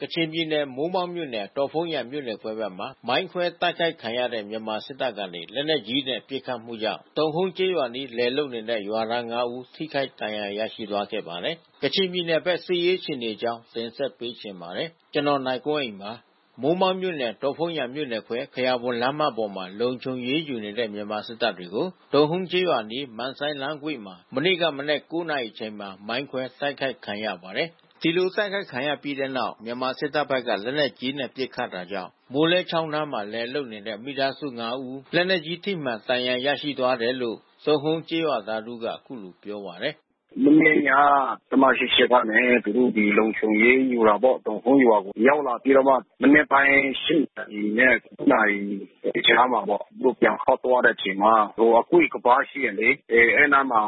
ကချင်ပြည်နယ် မိုးမောက်မြို့နယ် ဒေါ့ဖုန်းယန်မြို့နယ်ခွဲဘက်မှာ မိုင်းခွဲတိုက်ခိုက်ခံရတဲ့ မြန်မာစစ်တပ်ကနေ လက်နက်ကြီးနဲ့ ပစ်ခတ်မှုကြောင့် တုန်ဟုန်းကျေးရွာအနီး လယ်လုပ်နေတဲ့ ရွာသား ၅ ဦး ထိခိုက်ဒဏ်ရာ ရရှိသွားခဲ့ပါတယ်။ ကချင်ပြည်နယ်ဘက် စစ်ရေးအခြေအနေအကြောင်း နိုင်ကွန်းအိန် တင်ပြပေးထားပါတယ်။ မိုးမောက်မြို့နယ် ဒေါ့ဖုန်းယန်မြို့နယ်ခွဲ ခယာဘွမ်လမ်းမပေါ်မှာ လုံခြုံရေးယူနေတဲ့ မြန်မာစစ်တပ်တွေကို တုန်ဟုန်းကျေးရွာအနီး မန့်ဆိုင်းလမ်းကွေ့မှာ မနေ့က မနက် ၉ နာရီအချိန်မှာ မိုင်းခွဲတိုက်ခိုက်ခံရပါတယ်။ ဒီလိုတိုက်ခိုက်ခံရပြီးတဲ့နောက် မြန်မာစစ်တပ်ဘက်က လက်နက်ကြီးနဲ့ ပစ်ခတ်တာကြောင့် မိုးလဲချောင်းနားမှာ လယ်လုပ်နေတဲ့ မိသားစု ၅ ဦး လက်နက်ကြီးထိမှန် ဒဏ်ရာရရှိသွားတယ်လို့ တုန်ဟုန်းကျေးရွာသားတဦးက အခုလိုပြောပါတယ်။ “မနေ့က တပ်မ ၈၈ ကနေ သူတို့ ဒီလုံခြုံရေးယူတာပေါ့။ တုန်ဟုန်းရွာကို ရောက်လာပြီးတော့မှ မနက်ပိုင်း ၈ နာရီနဲ့ ၉ နာရီကြားမှာပေါ့။ သူတို့ပြန်ခေါက်သွားတဲ့အချိန်မှာ ဟိုအကွေ့ကမ်းပါးရှိတယ်လေ၊ အဲဒီအနားမှာ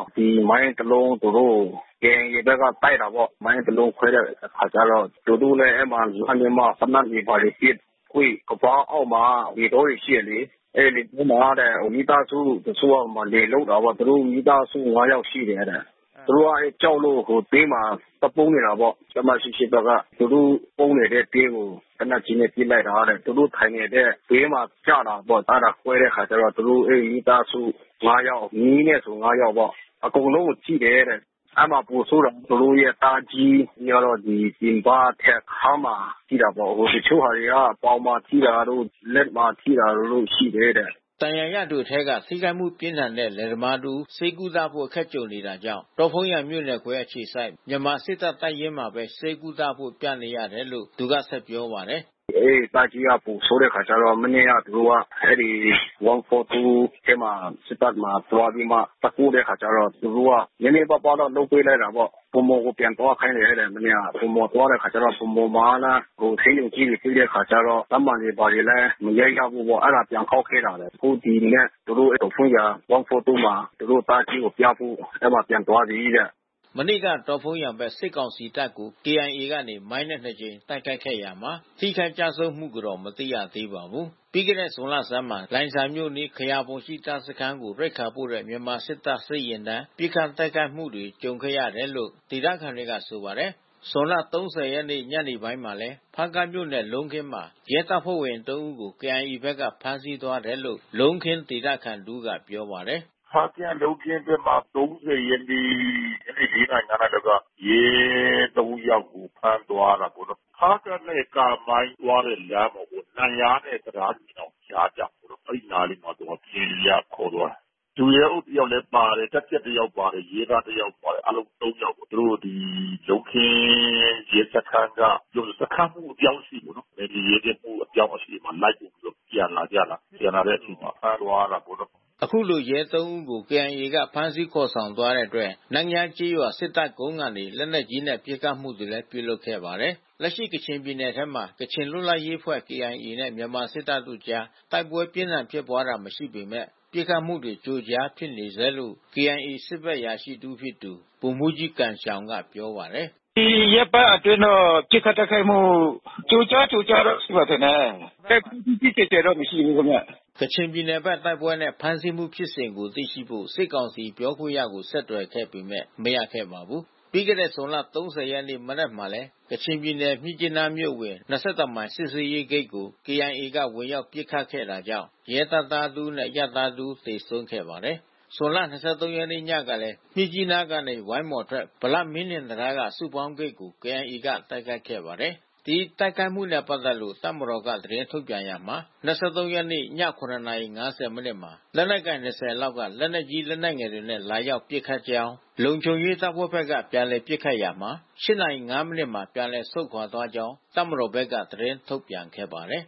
မိုင်းတလုံး သူတို့ကို KIA ဘက်က တိုက်တာပေါ့။ မိုင်းတလုံးခွဲတဲ့အခါကျတော့ သူတို့လည်း အဲဒီမှာ လှမ်းပြီးတော့ သေနတ်တွေဘာတွေပစ်၊ အကွေ့ကမ်းပါးအောက်မှာ လယ်တောတွေဘာတွေ ရှိတယ်လေ။ အဲဒီလယ်တောမှာတဲ့ မိသားစုတချို့က လယ်လုပ်တာပေါ့။ သူတို့မိသားစု ၅ ယောက် ရှိတယ်တဲ့။ သူတို့က ကြောက်လို့ ဘေးမှာ သွားပုန်းနေတာပေါ့။ တပ်မ ၈၈ ဘက်က သူတို့ပုန်းနေတဲ့တဲကို လက်နက်ကြီးနဲ့ ပစ်လိုက်တာတဲ့။ သူတို့ထိုင်နေတဲ့ဘေးကို ကျတာတဲ့။ အဲဒါ ကွဲတဲ့အခါကျတော့ သူတို့မိသားစု ၅ ယောက် မြေးနဲ့ဆို ၅ ယောက်ပေါ့၊ အကုန်လုံးကို ထိတယ်တဲ့။ အဲဒီမှာ ပိုဆိုးတာ သူတို့ရဲ့သားအကြီးကတော့ ရင်ဘတ်နဲ့ခါးမှာ ထိတာပေါ့။ တချို့ဟာတွေက ပေါင်မှာထိတာတို့ လက်မှာထိတာတို့ ရှိတယ်တဲ့။” ဒဏ်ရာရသူအထဲက ထိခိုက်မှုပြင်းထန်တဲ့ လယ်သမားတဦး ဆေးကုသဖို့ အခက်ကြုံနေတာကြောင့် ဒေါ့ဖုန်းယန်မြို့နယ်ခွဲ အခြေစိုက် မြန်မာစစ်တပ် တပ်ရင်းမှာပဲ ဆေးကုသဖို့ ပြနေရတယ်လို့ သူက ဆက်ပြောပါတယ်။ “အဲဒီသားကြီးက ပိုဆိုးတဲ့အခါကျတော့ မနေ့က သူတို့က အဲဒီ ၁၄၄ ထဲမှာ စစ်တပ်မှာ သွားပြီးမှ သွားပို့တဲ့အခါကျတော့ သူတို့က နည်းနည်းပါးပါးတော့ လုပ်ပေးလိုက်တာပေါ့။ ဗန်းမော်ကို ပြန်သွားခိုင်းတယ်တဲ့ မနေ့က။ ဗန်းမော်သွားတဲ့အခါကျတော့ ဗန်းမော်မှာကလည်း ဆေးရုံကြီးတွေ ပိတ်တဲ့အခါကျတော့ ဓာတ်မှန်တွေဘာတွေလည်း မရိုက်ရဘူးပေါ့။ အဲဒါ ပြန်ခေါက်ခဲ့တာပဲ။ အခု ဒီမနက် သူတို့ ဒေါ့ဖုန်းယန် ၁၄၄ မှာ သူတို့သားကြီးကိုပြဖို့ အဲဒီမှာပြန်သွားပြီတဲ့။” မနေ့က ဒေါ့ဖုန်းယန်ဘက် စစ်ကောင်စီတပ်ကို KIA ကနေ မိုင်းနဲ့ ၂ ကြိမ် တိုက်ခိုက်ရာမှာ ထိခိုက်ကျဆုံးမှုကို မသိရသေးပါဘူး။ ပြီးခဲ့တဲ့ဇွန်လဆန်းမှာ လိုင်ဇာမြို့အနီး ခယာဘွမ်ရှိ တပ်စခန်းကို ရိက္ခာပို့တဲ့ မြန်မာစစ်တပ်စစ်ယာဉ်တန်း ပစ်ခတ်တိုက်ခိုက်မှုတွေ ကြုံခဲ့ရတယ်လို့ ဒေသခံတွေက ဆိုပါတယ်။ ဇွန် ၃၀ ရက်နေ့ ညနေပိုင်းမှာလည်း ဖားကန့်မြို့နယ် လုံးခင်းမှာ ရဲတပ်ဖွဲ့ဝင် ၃ ဦးကို KIA ဘက်က ဖမ်းဆီးသွားတယ်လို့ လုံးခင်းဒေသခံတဦးက ပြောပါတယ်။ “ဖားကန့် လုံးခင်းဘက်က ၃၀ ရက်နေ့ ညနေ ၄ နာရီ ၅ နာရီလောက်က ရဲ ၃ ယောက်ကို ဖမ်းသွားတာပေါ့နော်။ ဖားကန့်နဲ့ ကာမိုင်းသွားတဲ့ လမ်းပေါ့လေ။ နန့်ယားနဲ့ တံတားညီနောင်ကြား ကျတယ်ပေါ့လေ။ အဲဒီနားလေးမှာ KIA က ခေါ်သွားတယ်။ ဒုရဲအုပ်တယောက်ပါတယ်၊ တပ်ကြပ်တယောက်ပါတယ်၊ ရဲတပ်သားတယောက်ပါတယ်၊ အားလုံး ၃ ယောက်ပေါ့။ သူတို့ ဒီ လုံးခင်းရဲစခန်းက စခန်းမှူး အပြောင်းအရွှေ့ပေါ့နော် နယ်မြေရဲကင်းမှူး အပြောင်းအရွှေ့မှာ လိုက်ပို့ပြီးတော့ ပြန်လာကြတာ။ ပြန်လာတဲ့အချိန်မှာ ဖမ်းသွားတာပေါ့နော်။” အခုလို ရဲ ၃ ဦးကို KIA က ဖမ်းဆီးခေါ်ဆောင်သွားတဲ့အတွက် နန့်ယားကျေးရွာ စစ်တပ်ကုန်းကနေ လက်နက်ကြီးနဲ့ ပစ်ခတ်မှုတွေ ပြုလုပ်ခဲ့ပါတယ်။ လက်ရှိ ကချင်ပြည်နယ်ထဲမှာ ကချင်လွတ်လပ်ရေးအဖွဲ့ KIA နဲ့ မြန်မာစစ်တပ်တို့အကြား တိုက်ပွဲပြင်းထန်ဖြစ်ပွားတာ မရှိပေမယ့် ပစ်ခတ်မှုတွေ ကြိုးကြားဖြစ်နေဆဲလို့ KIA စစ်ဘက်အရာရှိတဦးဖြစ်သူ ဗိုလ်မှူးကြီးဂမ်ရှောင်က ပြောပါတယ်။ “ဒီရက်ပိုင်းအတွင်းတော့ ပစ်ခတ်တိုက်ခိုက်မှု ကြိုးကြား ကြိုးကြားတော့ ရှိမယ်ထင်တယ်။ တိုက်ပွဲကြီးကြီးကျယ်ကျယ်တော့ မရှိဘူးခင်ဗျ။” ကချင်ပြည်နယ်ဘက် တိုက်ပွဲနဲ့ ဖမ်းဆီးမှုဖြစ်စဉ်တွေကို သိရှိဖို့ စစ်ကောင်စီပြောခွင့်ရကို ဆက်သွယ်ခဲ့ပေမယ့် မရခဲ့ပါဘူး။ ပြီးခဲ့တဲ့ ဇွန်လ ၃၀ ရက်နေ့ မနက်မှာလည်း ကချင်ပြည်နယ် မြစ်ကြီးနားမြို့အဝင် ၂၁ မိုင် စစ်ဆေးရေးဂိတ်ကို KIA က ဝင်ရောက် ပစ်ခတ်ခဲ့တာကြောင့် ရဲတပ်သားတဦးနဲ့ အရပ်သားတဦး သေဆုံးခဲ့ပါတယ်။ ဇွန်လ ၂၃ ရက်နေ့ ညကလည်း မြစ်ကြီးနားက ဝိုင်းမော်အထွက် ဗလမင်းထင်တံတားက စုပေါင်းဂိတ်ကို KIA က တိုက်ခိုက်ခဲ့ပါတယ်။ ဒီတိုက်ခိုက်မှုနဲ့ ပတ်သက်လို့ တပ်မတော်က သတင်းထုတ်ပြန်ရာမှာ ၂၃ ရက်နေ့ည ၇ နာရီ ၅၀ မိနစ်မှာ လက်နက်ကိုင် ၂၀ လောက်က လက်နက်ကြီး လက်နက်ငယ်တွေနဲ့ လာရောက်ပစ်ခတ်ကြောင်း၊ လုံခြုံရေးတပ်ဖွဲ့ဘက်က ပြန်လှန်ပစ်ခတ်ရာမှာ ၈ နာရီ ၅ မိနစ်မှာ ပြန်လည်ဆုတ်ခွာသွားကြောင်း တပ်မတော်ဘက်က သတင်းထုတ်ပြန်ခဲ့ပါတယ်